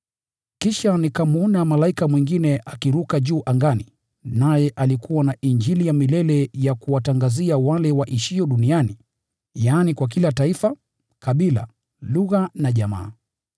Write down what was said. Kisha nikamwona malaika mwingine akiruka juu angani, naye alikuwa na Injili ya milele ya kuwatangazia wale waishio duniani, yaani, kwa kila taifa, kabila, lugha na jamaa.